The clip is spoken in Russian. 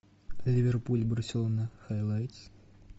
ливерпуль барселона хайлайтс